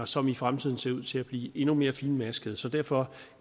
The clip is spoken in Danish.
som i fremtiden ser ud til at blive endnu mere finmaskede så derfor